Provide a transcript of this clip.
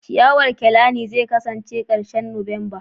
ciyawar kelani zai kasance nan da ƙarshen Nuwamba